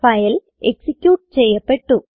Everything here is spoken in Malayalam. ഫൈൽ എക്സിക്യൂട്ട് ചെയ്യപ്പെട്ടു